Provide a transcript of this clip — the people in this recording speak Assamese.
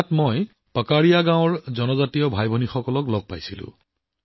তাৰ পাকাৰিয়া গাঁৱৰ জনজাতীয় ভাইভনীক লগ পালোঁ